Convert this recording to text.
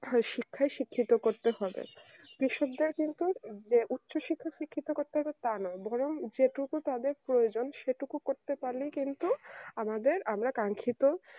ওই শিক্ষায় শিক্ষিত করতে হবে না কৃষক দেড় কিন্তু যে উচ্চশিক্ষা করতে হবে তা নয় বরং যে টুকু তাদের প্রয়োজন সেটুকু করতে পারলে কিন্তু আমাদের আমি, রা কাঙ্খিত